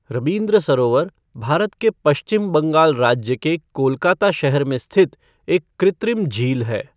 रबीन्द्र सरोवर भारत के पश्चिम बंगाल राज्य के कोलकाता शहर में स्थित एक कृत्रिम झील है।